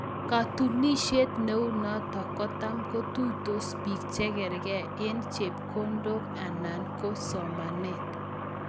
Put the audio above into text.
Katunisiet neu notok kocham kotuitos pii chekargei eng chepkondok anana Koo somanet